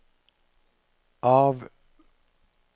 av